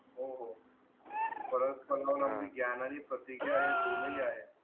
हो हो प्रतिज्ञा हे दोन्ही आहे